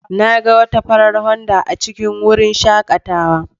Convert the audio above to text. Na ga wata farar Honda A cikin wurin shakatawa.